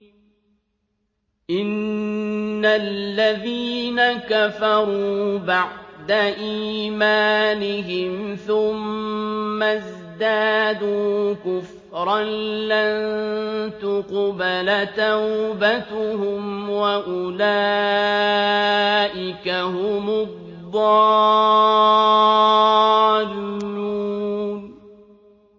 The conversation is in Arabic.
إِنَّ الَّذِينَ كَفَرُوا بَعْدَ إِيمَانِهِمْ ثُمَّ ازْدَادُوا كُفْرًا لَّن تُقْبَلَ تَوْبَتُهُمْ وَأُولَٰئِكَ هُمُ الضَّالُّونَ